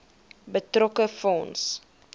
betrokke fonds